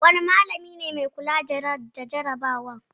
Wanne malami ne mai kula da jarabawar?